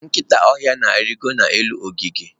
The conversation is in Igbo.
nkịta ọhịa na-arịgo n'elu ogige.